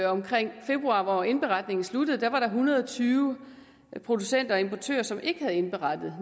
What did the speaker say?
omkring februar hvor indberetningen sluttede var der en hundrede og tyve producenter og importører som ikke havde indberettet